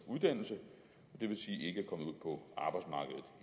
uddannelse og